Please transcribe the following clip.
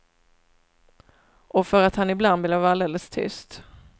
Och för att han ibland blev alldeles tyst.